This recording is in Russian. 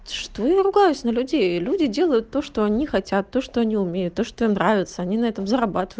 что я ругаюсь на людей люди делают то что они хотят то что они умеют а что нравятся они на этом зарабатывают